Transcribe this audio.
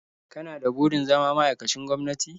Kana da burin zama ma'aikacin gwamnati?